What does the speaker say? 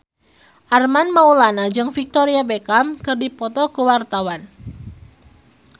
Armand Maulana jeung Victoria Beckham keur dipoto ku wartawan